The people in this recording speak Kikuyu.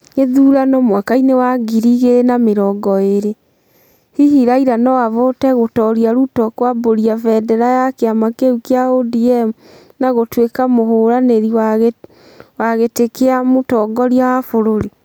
Githurano mwakaĩnĩ wa ngirĩ igĩrĩ na mĩrongo ĩĩrĩ : Hihi Raira no avote gũtooria Ruto kuambaria vendera ya kĩama kĩu kia ODM na gutuĩka mũvũranĩri wa gitĩkia mutonoria wa vũrũri.